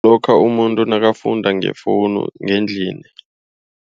Lokha umuntu nakafunda ngefoni ngendlini.